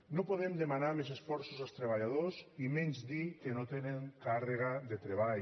no podem demanar més esforços als treballadors i menys dir que no tenen càrrega de treball